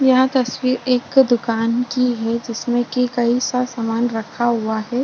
यह तस्वीर एक दुकान की है जिसमें कि कई-सा सामान रखा हुआ है।